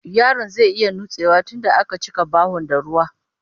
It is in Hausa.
Yaron zai iya nutsewa tunda a ka cika bahon da ruwa